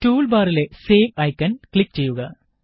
tool ബാറിലെ save icon click ചെയ്യുക